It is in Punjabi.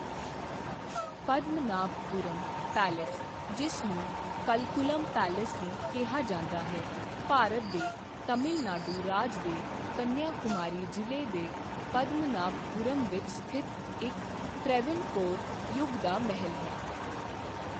ਪਦਮਨਾਭਪੁਰਮ ਪੈਲੇਸ, ਜਿਸ ਨੂੰ ਕਲਕੁਲਮ ਪੈਲੇਸ ਵੀ ਕਿਹਾ ਜਾਂਦਾ ਹੈ, ਭਾਰਤ ਦੇ ਤਮਿਲ ਨਾਡੂ ਰਾਜ ਦੇ ਕੰਨਿਆਕੁਮਾਰੀ ਜ਼ਿਲ੍ਹੇ ਦੇ ਪਦਮਨਾਭਪੁਰਮ ਵਿੱਚ ਸਥਿਤ ਇੱਕ ਤ੍ਰਾਵਣਕੋਰ ਯੁੱਗ ਦਾ ਮਹਿਲ ਹੈ।